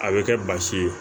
A bɛ kɛ basi ye